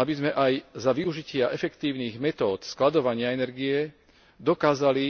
aby sme aj za využitia efektívnych metód skladovania energie dokázali